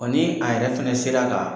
ni a yɛrɛ fɛnɛ sela ka